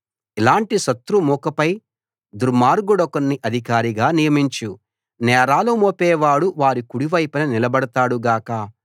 ఇలాటి శత్రుమూకపై దుర్మార్గుడొకణ్ణి అధికారిగా నియమించు నేరాలు మోపేవాడు వారి కుడివైపున నిలబడతాడు గాక